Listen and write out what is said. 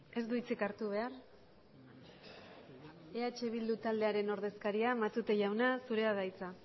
ez du hitzik hartu behar eh bildu taldearen ordezkaria matute jauna zurea da hitza